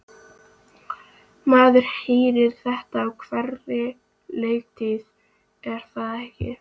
Maður heyrir þetta á hverri leiktíð er það ekki?